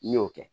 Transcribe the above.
N'i y'o kɛ